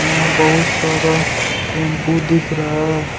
यहाँ बहुत सारा टेम्पू दिख रहा है।